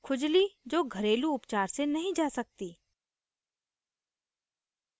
खुजली जो घरेलू उपचार से नहीं जा सकती